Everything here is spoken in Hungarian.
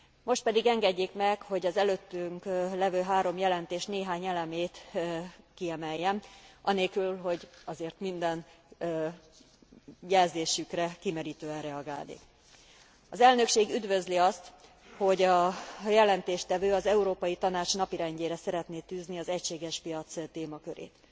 Most pedig engedjék meg, hogy az előttünk levő három jelentés néhány elemét kiemeljem, anélkül, hogy azért minden jelzésükre kimerítően reagálnék. Az elnökség üdvözli azt, hogy a jelentéstevő az Európai Tanács napirendjére szeretné tűzni az egységes piac témakörét.